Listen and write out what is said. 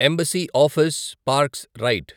embassy office parks right